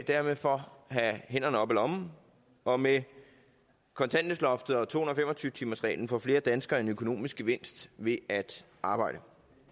derfor have hænderne op af lommen og med kontanthjælpsloftet og to hundrede og fem og tyve timersreglen får flere danskere en økonomisk gevinst ved at arbejde